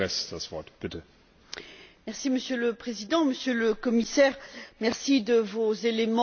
Monsieur le Président, Monsieur le Commissaire, merci de vos éléments d'éclaircissement.